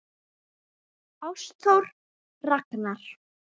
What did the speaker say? Ástþór Ragnar.